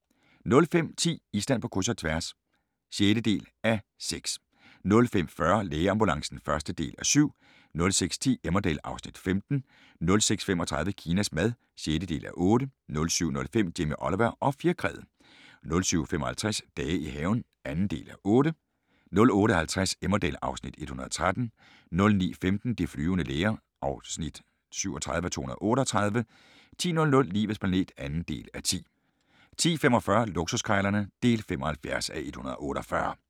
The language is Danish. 05:10: Island på kryds – og tværs (6:6) 05:40: Lægeambulancen (1:7) 06:10: Emmerdale (Afs. 15) 06:35: Kinas mad (6:8) 07:05: Jamie Oliver og fjerkræet 07:55: Dage i haven (2:8) 08:50: Emmerdale (Afs. 113) 09:15: De flyvende læger (37:238) 10:00: Livets planet (2:10) 10:45: Luksuskrejlerne (75:148)